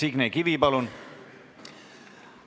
Signe Kivi, palun!